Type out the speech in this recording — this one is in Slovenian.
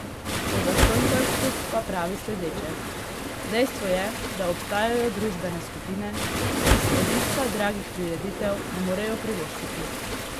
O zastonjkarstvu pa pravi sledeče: "Dejstvo je, da obstajajo družbene skupine, ki si obiska dragih prireditev ne morejo privoščiti.